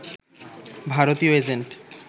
ভারতীয় এজেন্ট